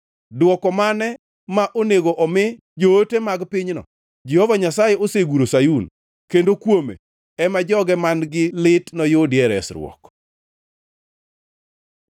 Dwoko mane ma onego omi joote mag pinyno? “Jehova Nyasaye oseguro Sayun, kendo kuome ema joge man-gi lit noyudie resruok.”